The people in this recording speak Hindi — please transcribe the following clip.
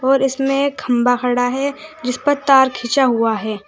और इसमें खंभा खड़ा है जिस पर तार खिंचा हुआ है।